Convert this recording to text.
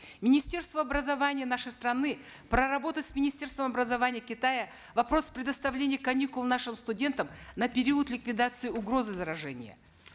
министерству образования нашей страны проработать с министерством образования китая вопрос предоставления каникул нашим студентам на период ликвидации угрозы заражения